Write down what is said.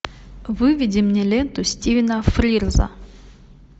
выведи мне ленту стивена фрирза